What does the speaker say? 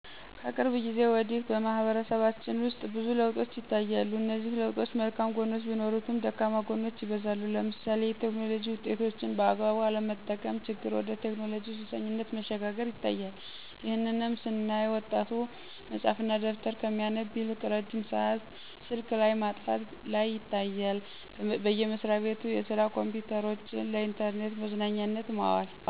ከቅርብ ጊዜ ወዲህ በማህበረሰባችን ውስጥ ብዙ ለውጦች ይታያሉ እነዚህ ለውጦች መልካም ግኖች ቢኖሩትም ደካማ ጎኖች ይበዛሉ ለምሳሌ የቴክኖሎጂ ውጤቶችን በአግባቡ አለመጠቀም ችግር ወደ ቴክኖሎጂ ሱሰኝነት መሸጋገር ይታያል። ይህንንም ስናይ ወጣቱ መፅሀፍ እና ደብተር ከሚያነብ ይልቅ ረጅም ሰአት ስልክ ላይ ማጥፋት ላይ ይታያል። በየመስራቤቱ የስራ ኮምፒዉተሮችን ለኢንተርኔት መዝናኛነት ማዋል።